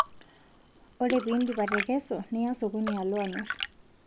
Ore piidip atekesu niya sokoni Alo amir